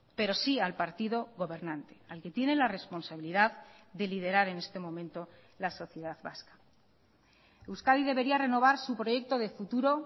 pero sí al partido gobernante al que tiene la responsabilidad de liderar en este momento la sociedad vasca euskadi debería renovar su proyecto de futuro